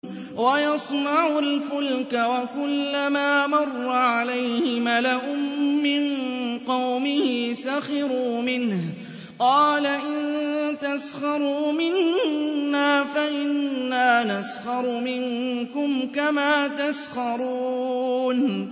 وَيَصْنَعُ الْفُلْكَ وَكُلَّمَا مَرَّ عَلَيْهِ مَلَأٌ مِّن قَوْمِهِ سَخِرُوا مِنْهُ ۚ قَالَ إِن تَسْخَرُوا مِنَّا فَإِنَّا نَسْخَرُ مِنكُمْ كَمَا تَسْخَرُونَ